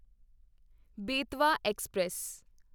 Betwa express